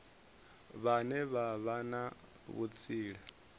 vhane vha vha na vhutsila